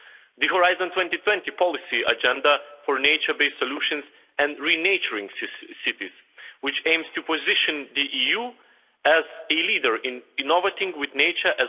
the Horizon 2020 policy agenda for nature based solutions and re naturing cities, which aims to position the EU as a leader in innovating with nature